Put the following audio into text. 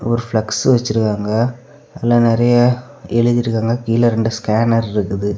ஒரு பிளக்ஸ் வச்சிருக்காங்க அதுல நிறைய எழுதி இருக்காங்க கீழே இரண்டு ஸ்கேனர் இருக்குது.